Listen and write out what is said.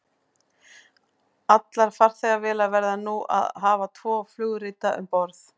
Allar farþegavélar verða nú að hafa tvo flugrita um borð.